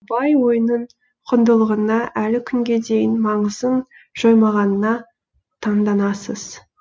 абай ойының құндылығына әлі күнге дейін маңызын жоймағанына таңданасыз